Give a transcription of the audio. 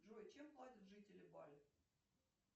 джой чем платят жители бали